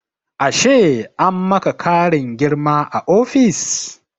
Ashe an maka ƙarin girma a ofis?